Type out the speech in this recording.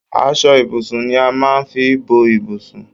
Aṣọ ibùsùn ni a máa ń fi bo ibùsùn.